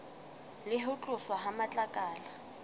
le ho tloswa ha matlakala